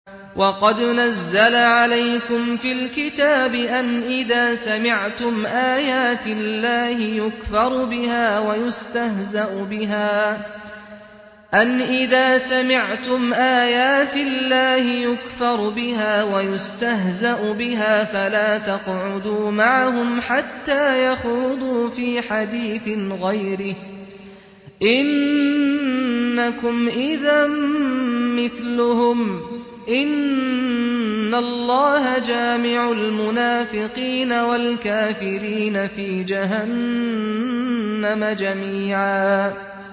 وَقَدْ نَزَّلَ عَلَيْكُمْ فِي الْكِتَابِ أَنْ إِذَا سَمِعْتُمْ آيَاتِ اللَّهِ يُكْفَرُ بِهَا وَيُسْتَهْزَأُ بِهَا فَلَا تَقْعُدُوا مَعَهُمْ حَتَّىٰ يَخُوضُوا فِي حَدِيثٍ غَيْرِهِ ۚ إِنَّكُمْ إِذًا مِّثْلُهُمْ ۗ إِنَّ اللَّهَ جَامِعُ الْمُنَافِقِينَ وَالْكَافِرِينَ فِي جَهَنَّمَ جَمِيعًا